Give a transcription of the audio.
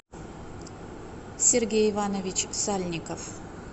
сергей иванович сальников